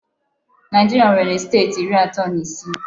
Naijiria nwere steeti iri ato na isii